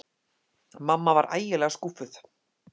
Mamma var ægilega skúffuð.